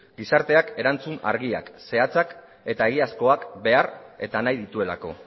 gizarteak erantzun argia zehatzak eta egiazkoak behar eta nahi dituelako